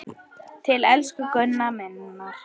Til elsku Gunnu minnar.